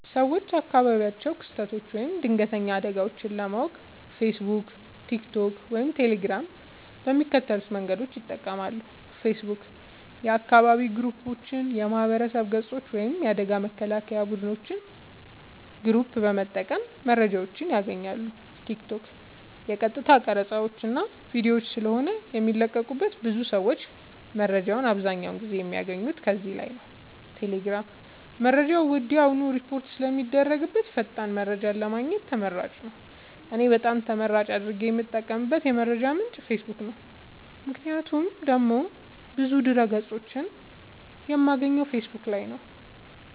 ሰወች አካባቢያዊ ክስተቶች ወይም ድንገተኛ አደጋወች ለማወቅ ፌሰቡክ ቲክቶክ ወይም ቴሌግራም በሚከተሉት መንገዶች ይጠቀማሉ ፌሰቡክ :- የአካባቢ ግሩፖች የማህበረሰብ ገፆች ወይም የአደጋ መከላከያ ቡድኖች ግሩፕ በመጠቀም መረጃወችን ያገኛሉ ቲክቶክ :- የቀጥታ ቀረፃወች እና ቪዲዮወች ስለሆነ የሚለቀቁበት ብዙ ሰወች መረጃወችን አብዛኛውን ጊዜ የሚያገኙት ከዚህ ላይ ነዉ ቴሌግራም :-መረጃ ወድያውኑ ሪፖርት ስለሚደረግበት ፈጣን መረጃን ለማግኘት ተመራጭ ነዉ። እኔ በጣም ተመራጭ አድርጌ የምጠቀምበት የመረጃ ምንጭ ፌሰቡክ ነዉ ምክንያቱም ደግሞ ብዙ ድህረ ገፆችን የማገኘው ፌሰቡክ ላይ ነዉ